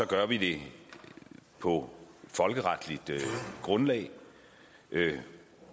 gør vi det på folkeretligt grundlag